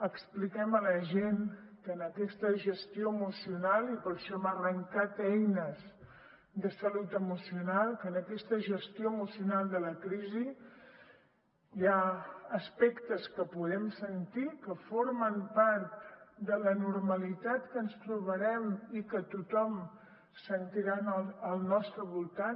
expliquem a la gent que en aquesta gestió emocional i per això hem arrencat eines de salut emocional de la crisi hi ha aspectes que podem sentir que formen part de la normalitat que ens trobarem i que tothom sentirà al nostre voltant